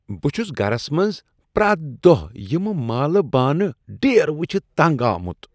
بہٕ چھس گرس منٛز پریتھ دۄہہ یم مٲلہٕ بانہٕ ڈیر وٕچھتھ تنٛگ آمت۔